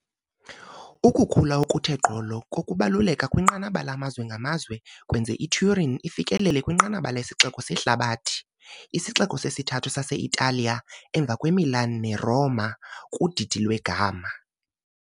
Ukukhula okuthe gqolo kokubaluleka kwinqanaba lamazwe ngamazwe kwenze iTurin yafikelela kwinqanaba lesixeko sehlabathi isixeko sesithathu sase-Italiya emva kweMilan neRoma kudidi lweGamma.